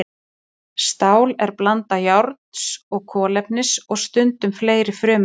Stál er blanda járns og kolefnis og stundum fleiri frumefna.